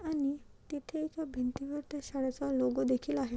आणि तिथे भिंती वरती शाळेचा लोगो देखील आहे.